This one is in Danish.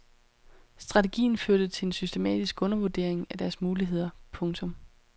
Strategien førte til en systematisk undervurdering af deres muligheder. punktum